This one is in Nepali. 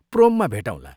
प्रोममा भेटौँला।